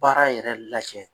Baara yɛrɛ lajɛ.